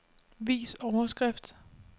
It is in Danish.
Vis overskrift.